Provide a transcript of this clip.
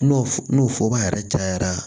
N'o n'o yɛrɛ cayara